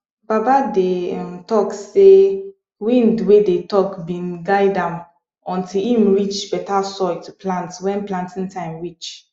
baba dey um talk sey wind wey dey talk been guide am until em reach better soil to plant wen planting time reach